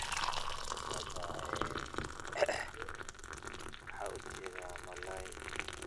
Meshan waxaa kasocda ee malalay ayan ujeda